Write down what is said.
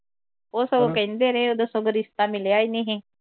ਉਹ ਸਗੋਂ ਕਹਿੰਦੇ ਰਹੇ ਉਦੋਂ ਸਗੋਂ ਰਿਸ਼ਤਾ ਮਿਲਿਆ ਹੀ ਨੀ ਹੀ